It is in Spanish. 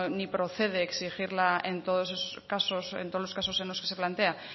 no procede exigir en todos los casos en los que se nos plantea